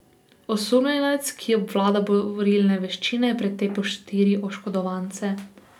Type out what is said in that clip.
Osumljenec, ki obvlada borilne veščine, je pretepel štiri oškodovance.